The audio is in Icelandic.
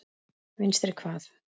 Vinstri hvað?